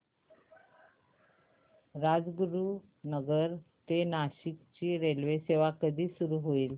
राजगुरूनगर ते नाशिक ची रेल्वेसेवा कधी सुरू होईल